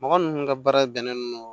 Mɔgɔ minnu ka baara bɛnnen don